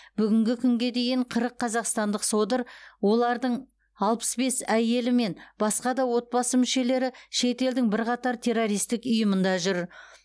бүгінгі күнге дейін қырық қазақстандық содыр олардың алпыс бес әйелі мен басқа да отбасы мүшелері шет елдің бірқатар террористік ұйымында жүр